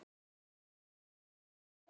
Elsku Jói minn.